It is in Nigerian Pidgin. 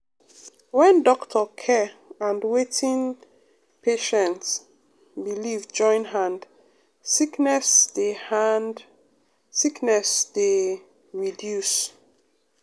when doctor care and wetin patient belief join hand sickness dey hand sickness dey reduce.